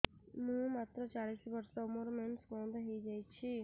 ମୁଁ ମାତ୍ର ଚାଳିଶ ବର୍ଷ ମୋର ମେନ୍ସ ବନ୍ଦ ହେଇଯାଇଛି